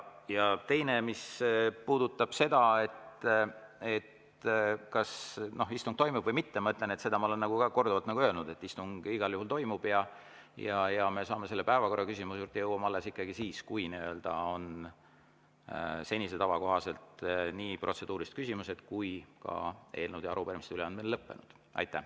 Ja teine, mis puudutab seda, kas istung toimub või mitte, ma ütlen, seda ma olen ka korduvalt öelnud, et istung igal juhul toimub ja päevakorraküsimuse juurde jõuame alles siis, kui on senise tava kohaselt nii protseduurilised küsimused kui ka eelnõude ja arupärimiste üleandmine lõppenud.